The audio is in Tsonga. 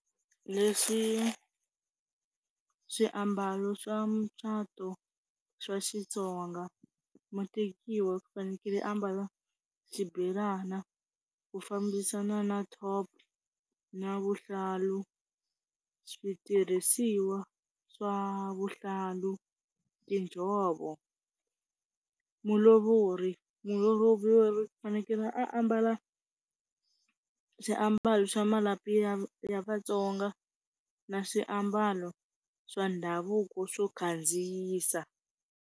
Leswi swiambalo swa mucato swa Xitsonga mutekiwa u fanekele a ambala xibelani ku fambisa na na top na vuhlalu, switirhisiwa swa vuhlalu, tinjhovo. Mulovori, mulovori u fanekele ambala swiambalo swa malapi ya ya Vatsonga na swiambalo swa ndhavuko swo khandziyisa.